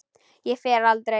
Ég fer aldrei.